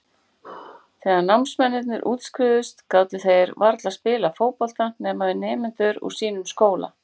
Þegar námsmennirnir útskrifuðust gátu þeir varla spilað fótbolta nema við nemendur úr sínum skóla.